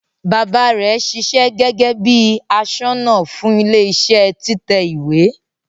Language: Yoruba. Baba rẹ ṣiṣẹ́ gẹgẹ bi aṣọ́nà fún ilẹ iṣẹ títẹ ìwé.